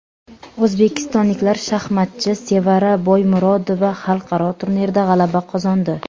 O‘zbekistonlik shaxmatchi Sevara Boymurodova xalqaro turnirda g‘alaba qozondi.